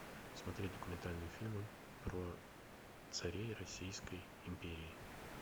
смотреть документальные фильмы про царей российской империи